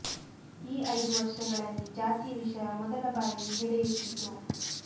ಈ ಐದು ವರ್ಷಗಳಲ್ಲಿ ಜಾತಿಯ ವಿಷ ಮೊದಲ ಬಾರಿಗೆ ಹೆಡೆ ಎತ್ತಿತ್ತು